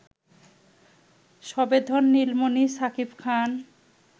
সবেধন নীলমণি শাকিব খান